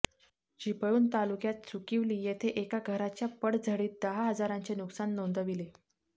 चिपळूण तालुक्यात सुकीवली येथे एका घराच्या पडझडीत दहा हजारांचे नुकसान नोंदविले